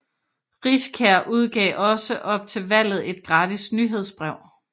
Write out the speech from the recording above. Riskær udgav også op til valget et gratis nyhedsbrev